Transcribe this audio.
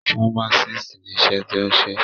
Fámásìst ni iṣẹ́ tí o ń ṣe.